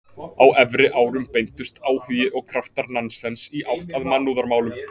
Á efri árum beindust áhugi og kraftar Nansens í átt að mannúðarmálum.